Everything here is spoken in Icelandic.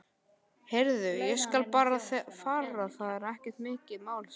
Heyrðu, ég skal bara fara, það er ekkert mál sagði